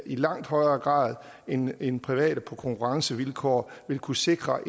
i langt højere grad end end private på konkurrencevilkår vil kunne sikre